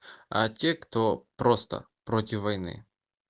а те кто просто против войны